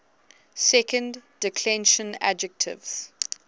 second declension adjectives